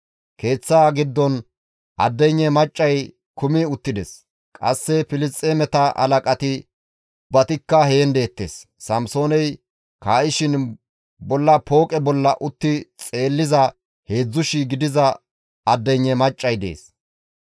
Keeththaa giddon addeynne maccay kumi uttides; qasse Filisxeemeta halaqati ubbatikka heen deettes. Samsooney kaa7ishin bolla pooqe bolla utti xeelliza 3,000 gidiza addeynne maccay dees.